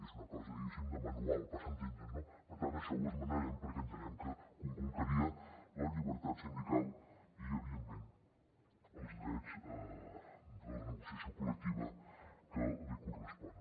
és una cosa diguéssim de manual per entendre’ns no per tant això ho esmenarem perquè entenem que conculcaria la llibertat sindical i evidentment els drets de la negociació col·lectiva que li corresponen